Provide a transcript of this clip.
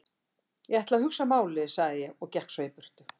Ég ætla að hugsa málið sagði ég svo og gekk í burtu.